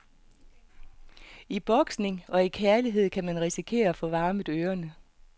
I boksning og i kærlighed kan man risikere at få varmet ørene.